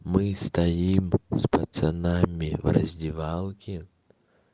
мы стоим с пацанами в раздевалке